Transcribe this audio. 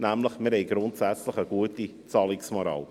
Wir haben nämlich eine gute Zahlungsmoral.